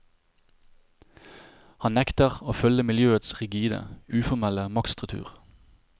Han nekter å følge miljøets rigide, uformelle maktstruktur.